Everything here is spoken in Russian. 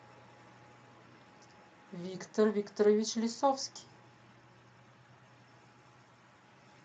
виктор викторович лисовский